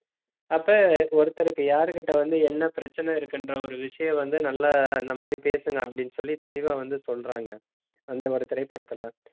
அப்ப ஒருத்தருக்கு யாருகிட்ட வந்து, என்ன பிரச்சனை இருக்குன்ற ஒரு விஷயம் வந்து, நல்லா, இந்த மாதிரி பேசுங்க அப்படின்னு சொல்லி தெளிவா வந்து சொல்றாங்க. அந்த ஒரு திரைப்படத்துல